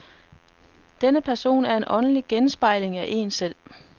Denne person er en åndelig genspejling af en selv.